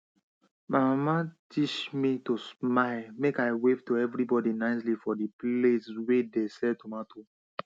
my mama teach me to smile make i wave to everybody nicely for di place wey de sell tomato